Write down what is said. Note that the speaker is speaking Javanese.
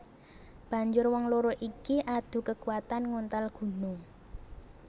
Banjur wong loro iki adu kekuatan nguntal gunung